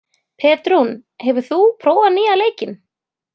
Petrún, hefur þú prófað nýja leikinn?